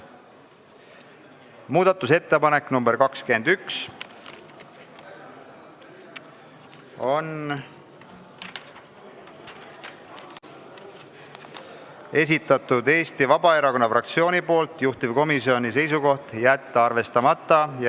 Muudatusettepanek nr 21 on Eesti Vabaerakonna fraktsioonilt, juhtivkomisjoni seisukoht: jätta arvestamata.